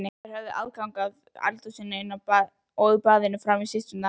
Þær höfðu aðgang að eldhúsinu og baðinu frammi, systurnar.